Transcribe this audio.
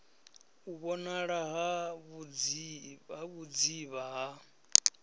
u vhonala ha vhudzivha ha